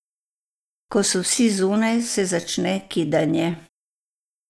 Ko so vsi zunaj, se začne kidanje.